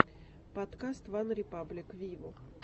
подкаст ван репаблик виво